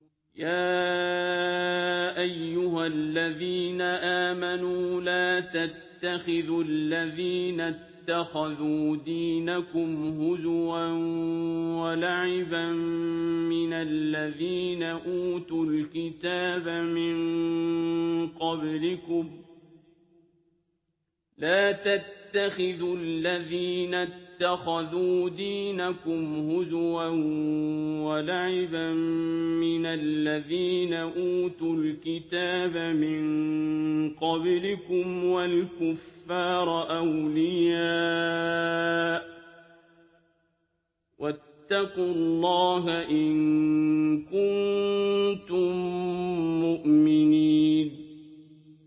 يَا أَيُّهَا الَّذِينَ آمَنُوا لَا تَتَّخِذُوا الَّذِينَ اتَّخَذُوا دِينَكُمْ هُزُوًا وَلَعِبًا مِّنَ الَّذِينَ أُوتُوا الْكِتَابَ مِن قَبْلِكُمْ وَالْكُفَّارَ أَوْلِيَاءَ ۚ وَاتَّقُوا اللَّهَ إِن كُنتُم مُّؤْمِنِينَ